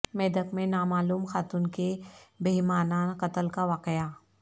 میدک میں نامعلوم خاتون کے بہیمانہ قتل کا واقعہ